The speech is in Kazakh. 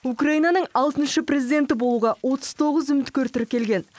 украинаның алтыншы президенті болуға отыз тоғыз үміткер тіркелген